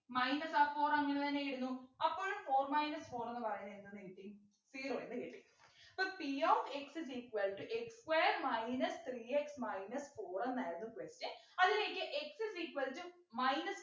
minus ആ four അങ്ങനെതന്നെ വരുന്നു അപ്പോൾ four minus four ന്നു പറയുന്ന എന്ത്ന്ന് കിട്ടി zero എന്ന് കിട്ടി so p of x is equal to x square minus three x minus four എന്നായിരുന്നു question അതിലേക്ക് x is equal to minus